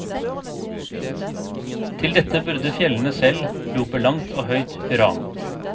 Til dette burde fjellene selv rope langt og høyt hurra.